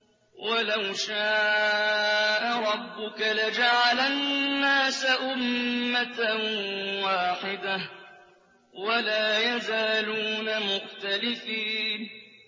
وَلَوْ شَاءَ رَبُّكَ لَجَعَلَ النَّاسَ أُمَّةً وَاحِدَةً ۖ وَلَا يَزَالُونَ مُخْتَلِفِينَ